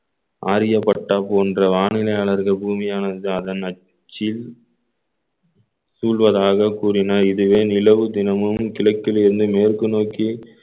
ஆரியப்பட்டா போன்ற வானிலையாளர்கள் பூமியானது ஜாதன் அச்சில் சூழ்வதாக கூறினார் இதுவே நிலவு தினமும் கிழக்கிலிருந்து மேற்கு நோக்கி